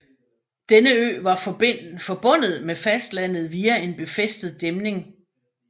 Denne ø var forbindet med fastlandet via en befæstet dæmning